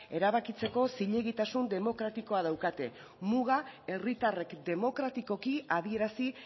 erabakitzeko zilegitasun demokratikoa daukate muga herritarrek demokratikoki adierazi